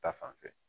Ta fanfɛ